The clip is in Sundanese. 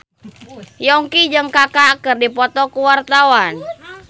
Yongki jeung Kaka keur dipoto ku wartawan